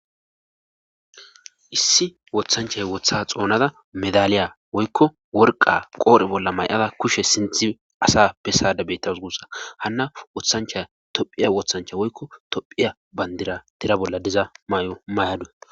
Issi wothanchay wotha xoonada medaliya woykko worqa qoori bolla may7ada kushe sinthi asa bessada bettas gussa hanna wothanchay tophiya wothancha woykko tophiya bandira tira bolla diza may7o may7adu